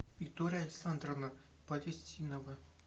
виктория александровна палестинова